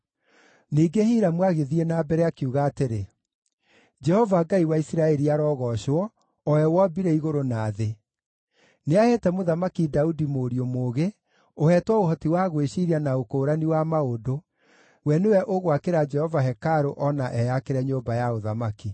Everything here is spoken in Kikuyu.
Ningĩ Hiramu agĩthiĩ na mbere, akiuga atĩrĩ: “Jehova Ngai wa Isiraeli arogoocwo, o we wombire igũrũ na thĩ! Nĩaheete Mũthamaki Daudi mũriũ mũũgĩ, ũheetwo ũhoti wa gwĩciiria na ũkũũrani wa maũndũ, we nĩwe ũgwakĩra Jehova hekarũ o na eyakĩre nyũmba ya ũthamaki.